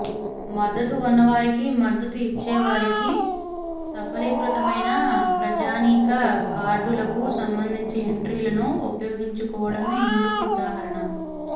మద్దతు ఉన్నవారికి మద్దతు ఇచ్చేవారికి సఫలీకృతమైన ప్రజానీక కార్డులకు సంబంధించి ఎంట్రీలను ఉపయోగించుకోవడమే ఇందుకు ఉదాహరణ